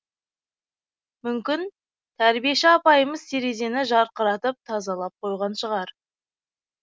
мүмкін тәрбиеші апайымыз терезені жарқыратып тазалап қойған шығар